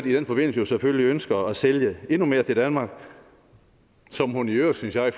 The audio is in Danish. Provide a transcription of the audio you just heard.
i den forbindelse jo selvfølgelig ønsker at sælge endnu mere til danmark som hun i øvrigt synes jeg